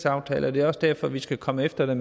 aftale og det er også derfor vil skal komme efter